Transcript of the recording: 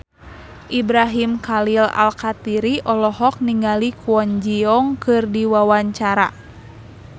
Ibrahim Khalil Alkatiri olohok ningali Kwon Ji Yong keur diwawancara